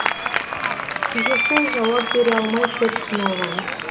шешесі жауап бере алмай көп қиналған